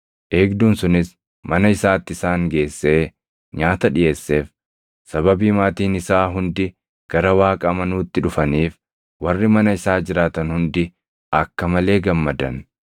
Eegduun sunis mana isaatti isaan geessee nyaata dhiʼeesseef; sababii maatiin isaa hundi gara Waaqa amanuutti dhufaniif warri mana isaa jiraatan hundi akka malee gammadan.